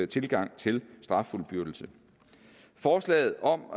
tilgang til straffuldbyrdelse forslaget om